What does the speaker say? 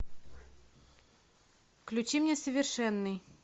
включи мне совершенный